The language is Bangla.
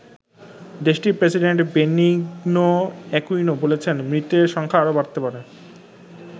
দেশটির প্রেসিডেন্ট বেনিগনো এ্যকুইনো বলেছেন মৃতের সংখ্যা আরও বাড়তে পারে।